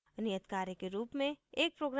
नियत कार्य के रूप में एक program लिखें